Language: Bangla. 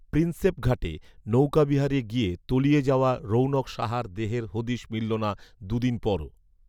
প্রিন্সেপঘাটে নৌকাবিহারে গিয়ে, তলিয়ে যাওয়া রৌণক সাহার দেহের হদিশ মিলল না দু'দিন পরও